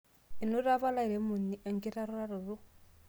enoto apa olairemoni enkituraroto